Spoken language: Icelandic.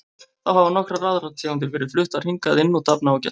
Þá hafa nokkrar aðrar tegundir verið fluttar hingað inn og dafna ágætlega.